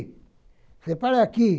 Você para aqui!